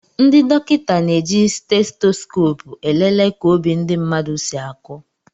Ndị dokịta na-eji Stetoskopu elele ka obi ndị mmadụ si aku